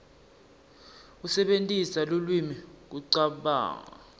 kusebentisa lulwimi kucabanga